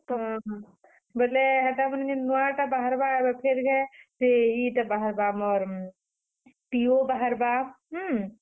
ହଁ ହଁ, ବେଲେ ହେଟା ଏଭେ ନୁଆ ଟା ବାହାରବା ଏଭେ ଫେର୍ ଘାଏ, ଇଟା ବାହାରବା ଆମର PO ବାହାରବା, ହୁଁ।